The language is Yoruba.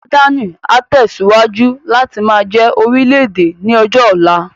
Jọ́dánì á tẹ̀síwájú láti máa jẹ́ orílè-èdè ní ọjọ́ ọ̀la